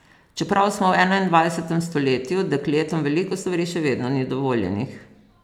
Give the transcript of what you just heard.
Čeprav smo v enaindvajsetem stoletju, dekletom veliko stvari še vedno ni dovoljenih.